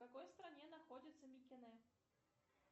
в какой стране находится микене